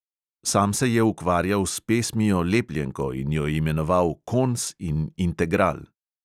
Sam se je ukvarjal s pesmijo lepljenko in jo imenoval kons in integral.